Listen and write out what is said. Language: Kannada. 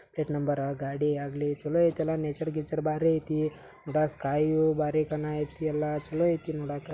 ಪ್ಲೇಟ್ ನಂಬರ್ ಗಾಡಿ ಆಗ್ಲಿ ಚಲೋ ಐತಿ ನೇಚರ್ ಗೀಚರ್ ಬಾರಿ ಐತಿ ನೇಚರ್ ಗೀಚರ್ ಬಾರಿ ಐತಿ ಕಾಯಿ ಬರಿ ಐತಿ ಸ್ಕಯ್ ಎಲ್ಲ ಚಲೋ ಐತಿ ನೋಡಕ್.